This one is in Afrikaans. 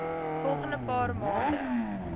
volgende paar maande